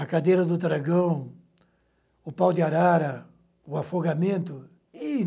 A cadeira do dragão, o pau de arara, o afogamento.